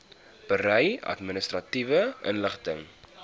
berei administratiewe inligting